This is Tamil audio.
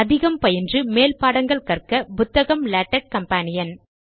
அதிகம் பயின்று மேல் பாடங்கள் கற்க புத்தகம் லேடக் கம்பானியன்